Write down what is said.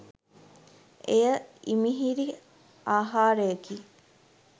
එය ඉමිහිරි ආහාරය කි.